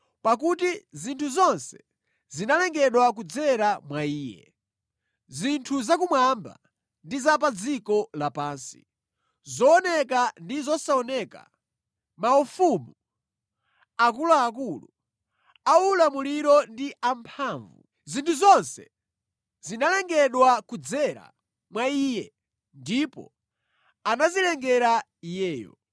Pakuti zinthu zonse zinalengedwa kudzera mwa Iye. Zinthu zakumwamba ndi za pa dziko lapansi, zooneka ndi zosaoneka, maufumu, akuluakulu, aulamuliro ndi amphamvu. Zinthu zonse zinalengedwa kudzera mwa Iye ndipo anazilengera Iyeyo.